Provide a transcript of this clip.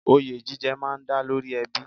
Oyè jíjẹ má a ń dá lórí ẹbí